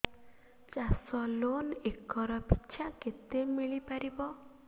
ଚାଷ loan acre ପିଛା କେତେ ମିଳି ପାରିବ